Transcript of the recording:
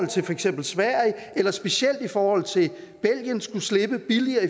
til for eksempel sverige eller specielt i forhold til belgien skulle slippe billigere